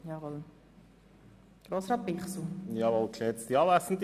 Kommissionspräsident der FiKo.